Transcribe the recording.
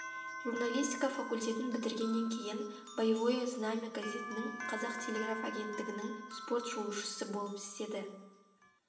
журналистика факультетін бітіргеннен кейін боевое знамя газетінің қазақ телеграф агенттігінің спорт шолушысы болып істеді